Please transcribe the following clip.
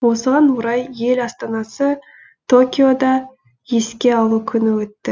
осыған орай ел астанасы токиода еске алу күні өтті